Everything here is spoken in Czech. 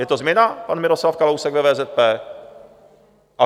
Je to změna, pan Miroslav Kalousek ve VZP?